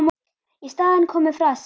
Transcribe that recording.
Í staðinn komu frasar.